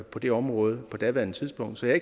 på det område på daværende tidspunkt så jeg